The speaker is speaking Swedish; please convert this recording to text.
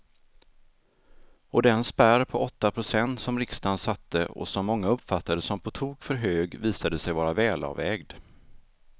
Och den spärr på åtta procent som riksdagen satte och som många uppfattade som på tok för hög visade sig vara välavvägd.